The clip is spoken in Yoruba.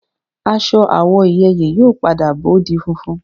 Aṣọ àwọ̀ ìyeyè yóò padà bó di funfun